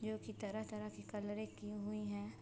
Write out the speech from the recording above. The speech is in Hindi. जो कि तरह-तरह की कलरे की हुई है।